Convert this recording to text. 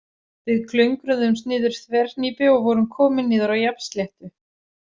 Við klöngruðumst niður þverhnípi og vorum komin niður á jafnsléttu.